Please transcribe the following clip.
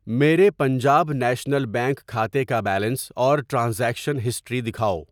میرے Punjab national bank کھاتے کا بیلنس اور ٹرانزیکشن ہسٹری دکھاؤ۔